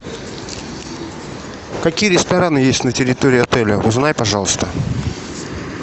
какие рестораны есть на территории отеля узнай пожалуйста